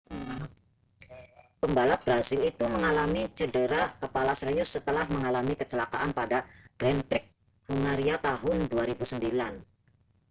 pembalap brasil itu mengalami cedera kepala serius setelah mengalami kecelakaan pada grand prix hungaria tahun 2009